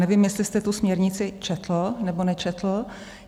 Nevím, jestli jste tu směrnici četl, nebo nečetl.